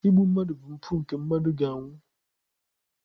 Igbu mmadụ bụ mpụ nke mmadụ ga-anwụ.